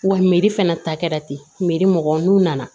Wa meri fana ta kɛra ten mugan n'u nana